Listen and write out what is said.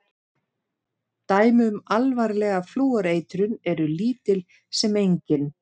Dæmi um alvarlega flúoreitrun eru lítil sem engin.